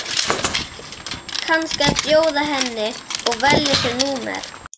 Ætlar kannski að bjóða henni að velja sér númer.